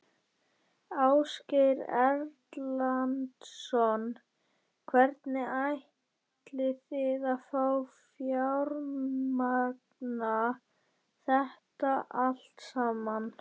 Ásgeir Erlendsson: Hvernig ætlið þið að fjármagna þetta allt saman?